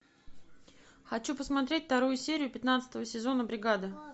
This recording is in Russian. хочу посмотреть вторую серию пятнадцатого сезона бригада